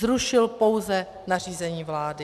Zrušil pouze nařízení vlády.